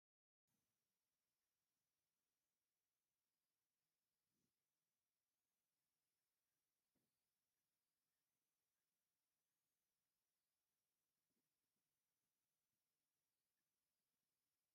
ሓንቲ ሰበይቲ ማማይ ሓዚላ ደው ኢላ እክሊ እናጠሓነት እያ ኣብ ጎና ዓብይ ዕትሮ ኣሎ እዛ ሰበይቲ ሓዚላትሉ ዘላ ካብ ምንታይ ዝተሰርሐ እዩ ?